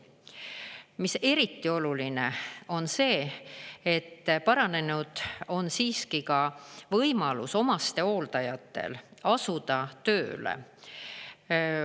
Mis eriti oluline: paranenud on siiski ka võimalus omastehooldajatel asuda tööle.